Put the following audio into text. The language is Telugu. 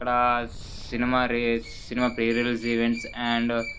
ఇక్కడ cinema cinema release events and